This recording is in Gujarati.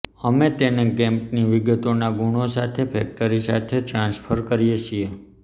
અમે તેને કેપની વિગતોના ગુણ સાથે ફેક્ટરી સાથે ટ્રાન્સફર કરીએ છીએ